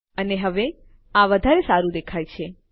અને હવે આ વધારે સારું દેખાય છે